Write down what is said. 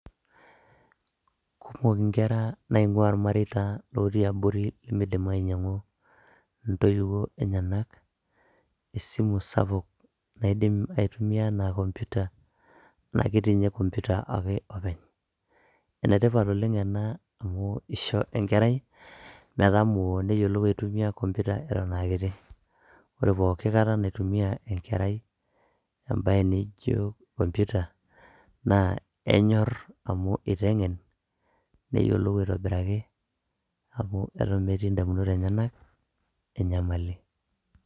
kumok inkera naing'ua irmareita lotii abori limidim ainyiang'u intoiwuo enyenak esimu sapuk naidim aitumia anaa computer anake tiinye computer ake openy enetipat oleng ena amu isho enkerai metamoo neyiolou aitumia computer eton akiti ore poki kata naitumia enkerai embaye naijo computer naa enyorr amu iteng'en neyiolou aitobiraki amu eton metii indamunot enyenak enyamali.